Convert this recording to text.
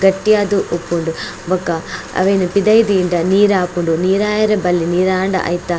ಗಟ್ಟಿಯಾದ್ ಉಪ್ಪುಂಡು ಬೊಕ ಅವೆನ್ ಪಿದಯ್ ದೀಂಡ ನೀರಾಪುಂಡು ನೀರಾಯೆರೆ ಬಲ್ಲಿ ನೀರಾಂಡ ಐತ.